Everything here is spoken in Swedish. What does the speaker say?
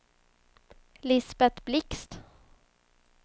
Lisbet Blixt